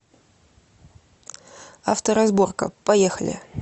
авторазборка поехали